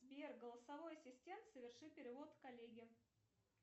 сбер голосовой ассистент соверши перевод коллеге